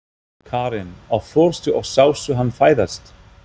Karen: Og fórstu og sástu hann fæðast?